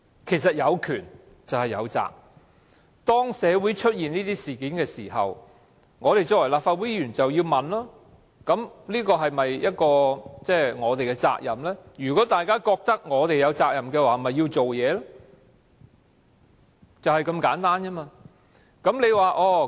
事實上，有權便有責，當社會出現這些事件的時候，我們作為立法會議員便要問大家是否有責任，而如果大家都認為有責任，便要採取行動，就是這麼簡單。